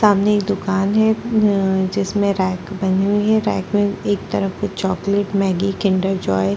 सामने एक दुकान है अ जिसमे रैक बनी हुई है रैक में एक तरफ चॉकलेट मैगी किंडर जॉय --